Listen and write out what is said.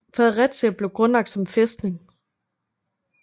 Fredericia blev grundlagt som en fæstning